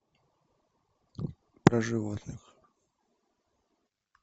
про животных